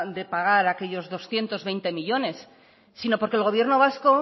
de pagar aquellos doscientos veinte millónes sino porque el gobierno vasco